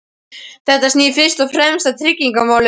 Þetta snýr fyrst og fremst að tryggingamálum.